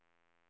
Mauritz Ferm